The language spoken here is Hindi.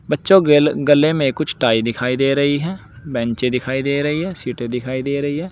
बच्चों गेले गले में कुछ टाई दिखाई दे रही है बेंचे दिखाई दे रही है सीटें दिखाई दे रही है।